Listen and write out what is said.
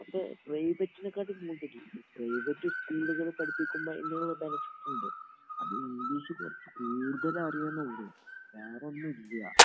അത് പ്രൈവറ്റിനെക്കാട്ടീൻ കൂടുതല്. പ്രൈവറ്റ് സ്കൂളുകളില് പഠിപ്പിക്കുമ്പോൾ അതിന്റേതായ ബെനഫിറ്റുണ്ട്. അത് ഇംഗ്ളീഷ് കുറച്ച് കൂടുതൽ അറിയും എന്നേ ഉള്ളൂ, വേറൊന്നുമില്ല.